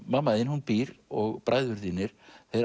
mamma þín hún býr og bræður þínir